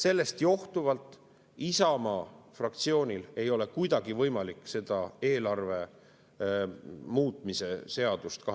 Sellest johtuvalt Isamaa fraktsioonil ei ole kuidagi võimalik seda 2023. aasta eelarve muutmise seadust